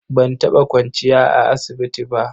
Ban taɓa kwanciya a asibiti ba.